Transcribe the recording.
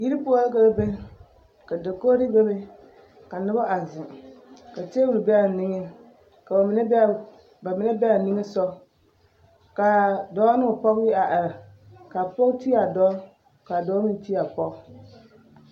Yiri poɔ la ka ba be ka dakogiri bebe ka noba a zeŋ ka teebol be a niŋeŋ ka bamine be a nimisogɔ k'a dɔɔ ne o pɔge a are k'a pɔge ti a dɔɔ k'a dɔɔ meŋ ti a pɔge.